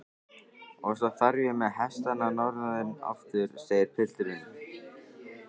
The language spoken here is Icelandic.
Og svo þarf ég með hestana norður aftur, segir pilturinn.